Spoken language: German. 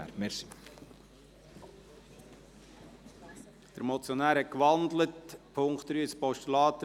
Der Motionär hat den Punkt 3 in ein Postulat gewandelt.